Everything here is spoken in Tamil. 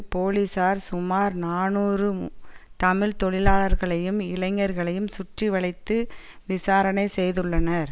போலிசார் சுமார் நாநூறு தமிழ் தொழிலாளர்களையும் இளைஞர்களையும் சுற்றிவளைத்து விசாரணை செய்துள்ளனர்